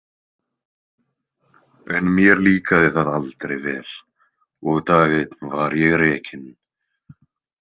En mér líkaði það aldrei vel og dag einn var ég rekinn.